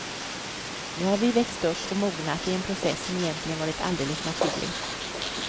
Nu har vi växt upp och mognat i en process som egentligen varit alldeles naturlig.